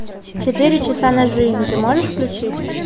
четыре часа на жизнь ты можешь включить